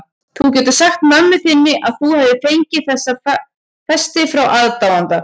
Þú getur sagt mömmu þinni að þú hafir fengið þessa festi frá aðdáanda.